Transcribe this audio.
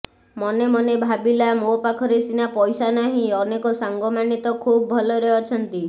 ମନେ ମନେ ଭାବିଲା ମୋ ପାଖରେ ସିନା ପଇସା ନାହିଁ ଅନେକ ସାଙ୍ଗମାନେ ତ ଖୁବ ଭଲରେ ଅଛନ୍ତି